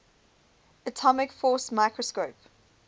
atomic force microscope